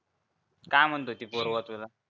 काय म्हणत होती पूर्वा तुला